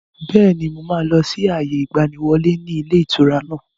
Bẹ́ẹ̀ni, mo máa lọ sí àyè ìgbàníwọlé ni ilé ìtura náà.